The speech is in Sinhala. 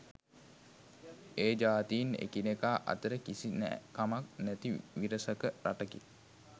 ඒ ජාතීන් එකිනෙකා අතර කිසි නෑකමක් නැති විරසක රටකි